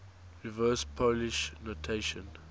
reverse polish notation